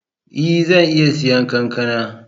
Ee! Zan iya siyan kankana.